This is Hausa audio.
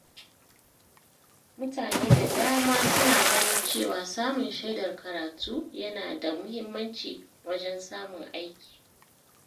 Mutane da dama suna ganin cewa samun shaidar karatu yana da muhimmanci wajen samun aiki.